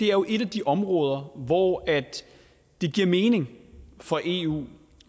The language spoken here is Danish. er jo et af de områder hvor det giver mening for eu